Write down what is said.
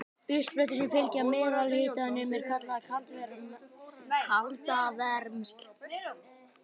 Uppsprettur sem fylgja meðalhitanum eru kallaðar kaldavermsl.